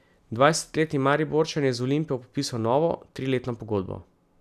Dvajsetletni Mariborčan je z Olimpijo podpisal novo, triletno pogodbo.